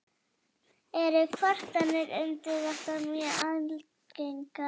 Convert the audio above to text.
Eru kvartanir um þetta mjög algengar.